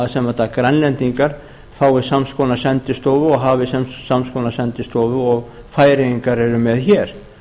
að grænlendingar fái sams konar sendistofu og hafi sams konar sendistofu og færeyingar eru með hér